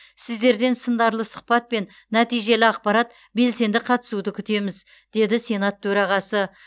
сіздерден сындарлы сұхбат пен нәтижелі ақпарат белсенді қатысуды күтеміз деді сенат төрағасы